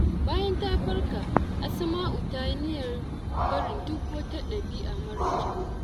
Bayan ya farka, Asma’u ta yi niyyar barin duk wata dabi’a mara kyau.